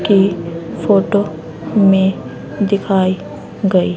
के फोटो में दिखाई गई--